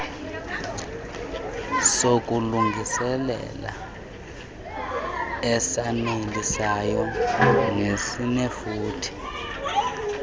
sokulungiselela esanelisayo nesinefuthe